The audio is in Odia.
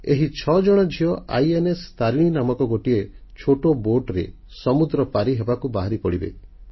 ଏହି 6 ଜଣ ଝିଅ ତାରିଣୀ ଇନଷ୍ଟାରିନି ନାମକ ଗୋଟିଏ ଛୋଟ ଯାନ୍ତ୍ରିକ ଡଙ୍ଗାରେ ସମୁଦ୍ରପଥରେ ବିଶ୍ବ ପରିକ୍ରମାରେ ବାହାରିପଡ଼ିବେ